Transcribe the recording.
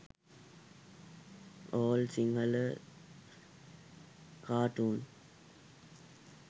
all sinhala cartoon